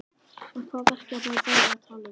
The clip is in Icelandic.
En hvaða verkefni er verið að tala um?